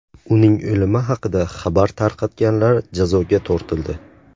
Uning o‘limi haqida xabar tarqatganlar jazoga tortildi .